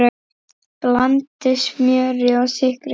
Blandið smjöri og sykri saman.